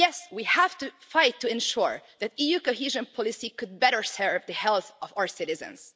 We have to fight to ensure that EU cohesion policy could better serve the health of our citizens.